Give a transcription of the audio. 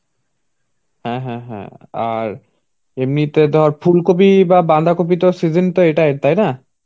হ্যাঁ হ্যাঁ. আর এমনিতে ধর ফুলকপি বা বাঁধাকপি তো season তো এটাই. তাই না?